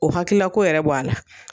O hakilila ko yɛrɛ bɔ a la.